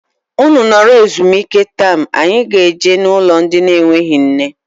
Ụnụ nọrọ ezumike taam anyị ga -eje na ụlọ ndị na enweghị nne.